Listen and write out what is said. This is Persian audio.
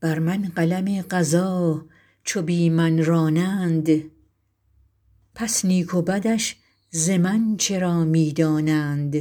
بر من قلم قضا چو بی من رانند پس نیک و بدش ز من چرا می دانند